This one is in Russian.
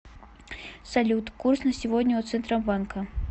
салют курс на сегодня у центробанка